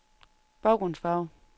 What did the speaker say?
baggrundsfarve